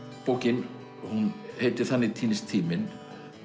bókin hún heitir þannig týnist tíminn